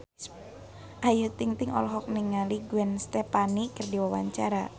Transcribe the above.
Ayu Ting-ting olohok ningali Gwen Stefani keur diwawancara